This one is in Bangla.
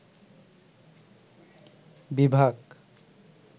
বিভাগ